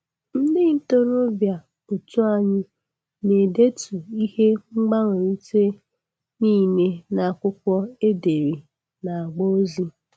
Ndị ntorobịa otu anyị na-edetu ihe mgbanwerit nile n'akwụkwọ e dere n'agba ozi.